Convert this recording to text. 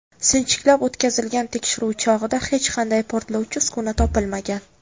Sinchiklab o‘tkazilgan tekshiruv chog‘ida hech qanday portlovchi uskuna topilmagan.